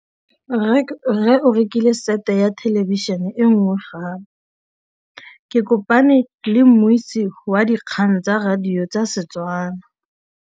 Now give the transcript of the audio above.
Rre o rekile sete ya thêlêbišênê e nngwe gape. Ke kopane mmuisi w dikgang tsa radio tsa Setswana.